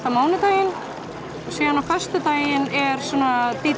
mánudaginn og síðan á föstudaginn er svona d